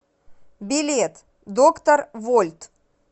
билет доктор вольт